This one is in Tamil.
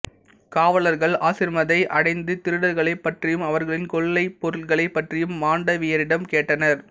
காவலர்கள் ஆசிரமத்தை அடைந்து திருடர்களைப் பற்றியும் அவர்களின் கொள்ளைப் பொருட்களைப் பற்றியும் மாண்டவியரிடம் கேட்டனர்